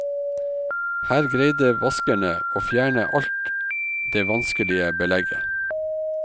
Her greide vaskerne å fjerne alt det vanskelige belegget.